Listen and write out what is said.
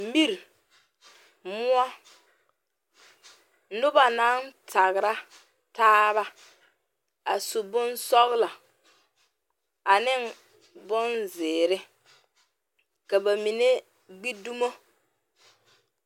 Miri moɔ noba naŋ tagra taaba a su bonsɔglɔ ane bonzeere ka ba mine gbi dumo.